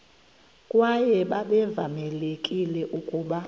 kwaye babevamelekile ukuba